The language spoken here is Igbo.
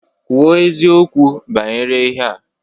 Kwuo eziokwu banyere ihe a!